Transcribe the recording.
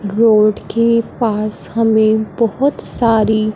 road के पास में हमें बहुत सारी--